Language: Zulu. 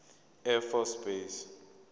air force base